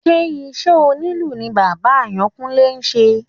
Ṣé iṣẹ́ onílù ní bàbá Àyánkúnlé ṣe?